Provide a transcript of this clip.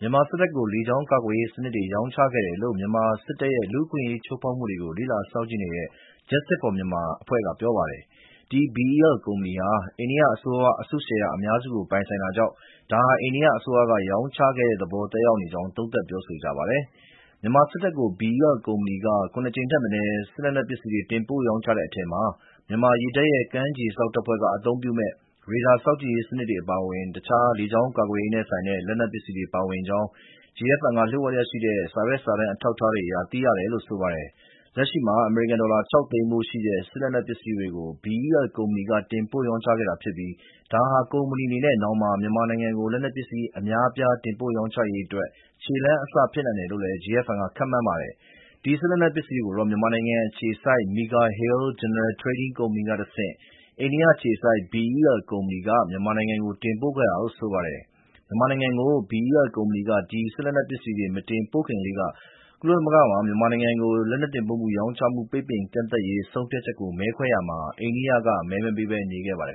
မြန်မာစစ်တပ်ကို လေကြောင်းကာကွယ်ရေးစနစ်တွေ ရောင်းချခဲ့တယ်လို့ မြန်မာစစ်တပ်ရဲ့ လက်နက်ဝယ်ယူမှုတွေနဲ့ လူ့အခွင့်အရေး ချိုးဖောက်မှုတွေကို လေ့လာ စောင့်ကြည့်နေတဲ့ Justice For Myanmar (JFM) အဖွဲ့က ပြောပါတယ်။ ဒီ BEL ကုမ္ပဏီဟာ အိန္ဒိယအစိုးရက အစုရှယ်ယာအများစု ပိုင်ဆိုင်တာကြောင့် ဒါဟာ အိန္ဒိယအစိုးရက ရောင်းချတဲ့သဘော သက်ရောက်နေကြောင်း သုံးသပ် ပြောဆိုကြပါတယ်။ မြန်မာစစ်တပ်ကို BEL ကုမ္ပဏီက ၇ ကြိမ်ထက်မနည်း လက်နက်ပစ္စည်းတွေ တင်ပို့ရောင်းချခဲ့တဲ့အထဲ မြန်မာရေတပ်ရဲ့ ကမ်းခြေစောင့်တပ်ဖွဲ့က အသုံးပြုမယ့် ရေဒါစောင့်ကြည့်ရေးစနစ် အပါအဝင် တခြား လေကြောင်းကာကွယ်ရေးနဲ့ဆိုင်တဲ့ လက်နက်ပစ္စည်းတွေ ပါဝင်ကြောင်း JFM က လျှို့ဝှက်ရရှိတဲ့ စာရွက်စာတမ်း အထောက်အထားတွေအရ သိရတယ်လို့ ဆိုပါတယ်။ လက်ရှိမှာ အမေရိကန်ဒေါ်လာ ၆ သိန်းတန်ဖိုးရှိတဲ့ လက်နက်ပစ္စည်းတွေကို BEL ကုမ္ပဏီက တင်ပို့ရောင်းချခဲ့ပြီးဖြစ်ပြီး ဒါဟာ ကုမ္ပဏီအနေနဲ့ နောင်မှာ မြန်မာနိုင်ငံကို လက်နက်ပစ္စည်း အများအပြား တင်ပို့ရောင်းချရေးအတွက် ခြေလှမ်းအစ ဖြစ်နိုင်တယ်လို့လည်း JFM က ခန့်မှန်းပါတယ်။ ဒီ စစ်လက်နက်ပစ္စည်းတွေကိုတော့ မြန်မာနိုင်ငံအခြေစိုက် Mega Hill General Trading ကုမ္ပဏီကတဆင့် အိန္ဒိယအခြေစိုက် BEL ကုမ္ပဏီက မြန်မာနိုင်ငံကို တင်ပို့ခဲ့တာလို့ ဆိုပါတယ်။ မြန်မာနိုင်ငံကို BEL ကုမ္ပဏီက ဒီလက်နက်ပစ္စည်းတွေ မတင်ပို့ခင်လေးက ကုလသမဂ္ဂမှာ မြန်မာနိုင်ငံကို လက်နက်တင်ပို့ ရောင်းချမှု ပိတ်ပင်ကန့်သတ်ရေး ဆုံးဖြတ်ချက်ကို မဲခွဲတာမှာ အိန္ဒိယက မဲမပေးဘဲ နေခဲ့ပါတယ်